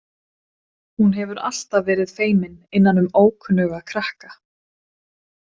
Hún hefur alltaf verið feimin innan um ókunnuga krakka.